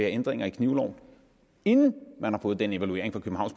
ændringer i knivloven inden man har fået den evaluering fra